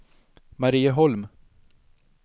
Marieholm